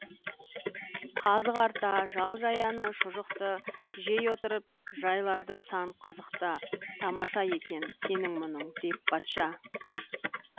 қазы қарта жал жаяны шұжықты жей отырып жайларды сан қызықты тамаша екен сенің мұның деп патша